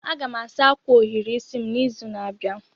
Aga m asa akwa ohiri isi m n'izu na-abịa.